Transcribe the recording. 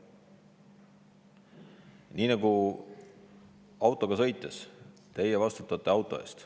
Nii nagu te autoga sõites ise vastutate auto eest.